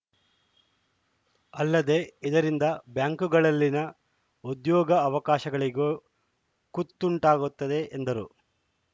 ಅಲ್ಲದೆ ಇದರಿಂದ ಬ್ಯಾಂಕುಗಳಲ್ಲಿನ ಉದ್ಯೋಗಾವಕಾಶಗಳಿಗೂ ಕುತ್ತುಂಟಾಗುತ್ತದೆ ಎಂದರು